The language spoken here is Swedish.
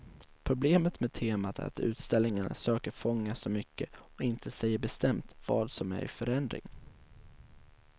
Problemet med temat är att utställningarna söker fånga så mycket och inte säger bestämt vad som är i förändring.